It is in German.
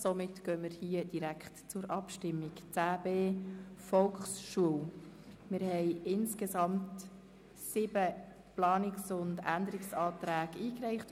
Wir haben sieben Planungserklärungen erhalten, wobei die Anträge 3 und 6 zurückgezogen worden sind.